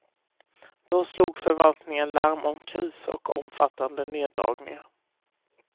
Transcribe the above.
Då slog förvaltningen larm om kris och omfattande neddragningar.